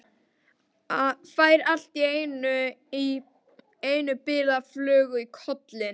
Fær allt í einu bilaða flugu í kollinn.